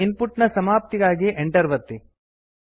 ಈಗ ಇನ್ಪುಟ್ ನ ಸಮಾಪ್ತಿಗಾಗಿ ಎಂಟರ್ ಒತ್ತಿ